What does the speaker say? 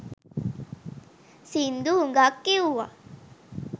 සිංදු හුඟක් කිවුවා.